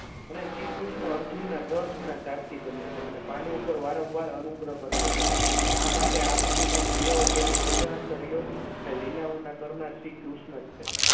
અને શ્રીકૃષ્ણ અર્જુનના રથના સારથી બન્યા છે અને પાંડુ ઉપર વારંવાર અનુગ્રહ કર્યો છે આ માટે આપણે જે ક્રિયાઓ કરી તે બધા કર્યો અને લીલાઓના ઘરના શ્રીકૃષ્ણ જ છે.